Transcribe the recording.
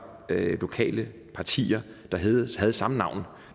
lokale partier der havde samme navn